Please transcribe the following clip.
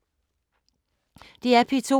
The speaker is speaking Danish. DR P2